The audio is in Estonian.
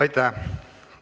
Aitäh!